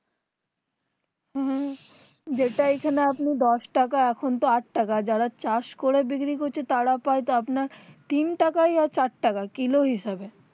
হুম হুম যেটা এইখানে আপনি দশ টাকা এখন তো আট টাকা যারা চাষ করে বিক্রি করছে তারা প্রায় আপনার তিন টাকা ও চার টাকা কিলো হিসেবে